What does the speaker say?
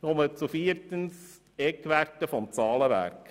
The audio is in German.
Ich komme zum vierten Punkt, den Eckwerten des Zahlenwerks.